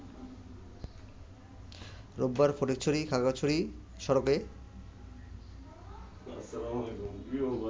রোববার ফটিকছড়ি-খাগড়াছড়ি সড়কে